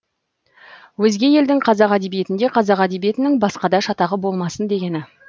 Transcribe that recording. өзге елдің қазақ әдебиетінде қазақ әдебиетінің басқада шатағы болмасын дегені